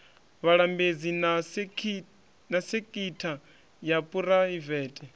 vhalambedzi na sekitha ya phuraivete